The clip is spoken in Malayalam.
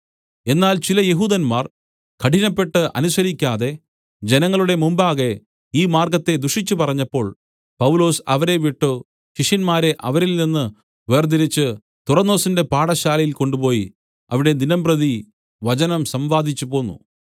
എന്നാൽ ചില യഹൂദന്മാർ കഠിനപ്പെട്ട് അനുസരിക്കാതെ ജനങ്ങളുടെ മുമ്പാകെ ഈ മാർഗ്ഗത്തെ ദുഷിച്ചുപറഞ്ഞപ്പോൾ പൗലോസ് അവരെ വിട്ടു ശിഷ്യന്മാരെ അവരിൽനിന്ന് വേർതിരിച്ച് തുറന്നൊസിന്റെ പാഠശാലയിൽ കൊണ്ടുപോയി അവിടെ ദിനംപ്രതി വചനം സംവാദിച്ചുപോന്നു